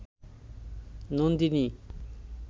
Nandini